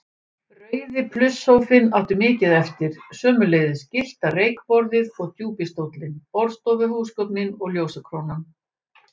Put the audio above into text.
Rauði plusssófinn átti mikið eftir, sömuleiðis gyllta reykborðið og djúpi stóllinn, borðstofuhúsgögnin og ljósakrónan.